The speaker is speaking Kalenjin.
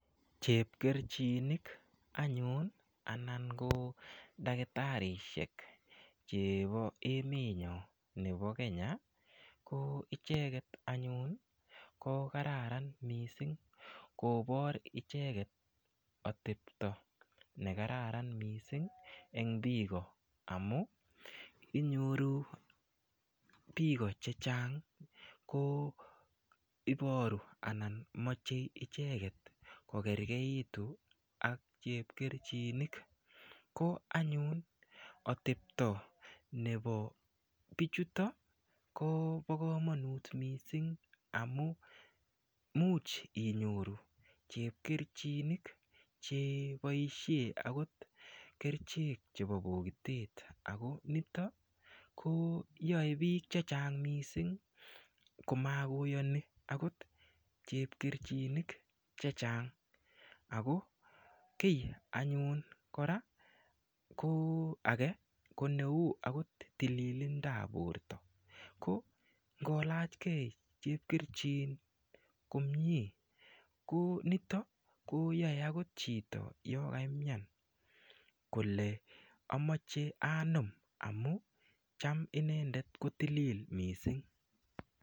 Chepkerchinik anyun anan ko dakitarishek chebo emet nyo nepo Kenya ko icheket anyun ko kararan mising kobor icheket atepto nekararan mising eng biko amu inyoru biko che chang ko iboru anan mochei icheket ko kergeit ak chepkerchinik ko anyun atepto nebo pichuto kobo komonut mising amu muuch inyoru chepkerchinik cheboishe akot kerchek chebo pokitet ako nito ko yoe biik che chang mising komakoyoni akot chepkerchinik che chang ako kiy anyun kora ko age ko neu akot tililindap borto ko ngolachkei chepkerchin komie ko nito koyoe akot chito yo kaimian kole amache anom amu cham inendet ko tilil mising.